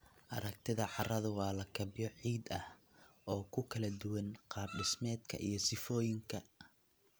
Aragtida carradu waa lakabyo ciid ah oo ku kala duwan qaab-dhismeedka iyo sifooyinka.